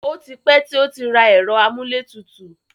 O ti pẹ́ tí ó rà ẹ̀rọ amúlétutù.